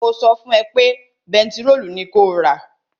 Mo sọ fún ẹ pé pẹtirólù ni kó rà!